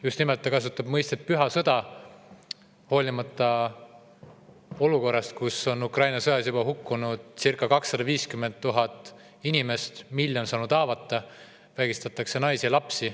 Just nimelt, ta kasutab mõistet "püha sõda", hoolimata olukorrast, kus Ukraina sõjas on juba hukkunud circa 250 000 inimest, miljon on saanud haavata, vägistatakse naisi ja lapsi.